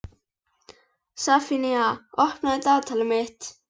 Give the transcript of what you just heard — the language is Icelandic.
Sefanía, opnaðu dagatalið mitt.